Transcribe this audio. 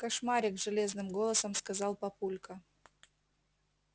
кошмарик железным голосом сказал папулька